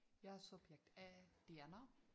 Jeg er subjekt A Diana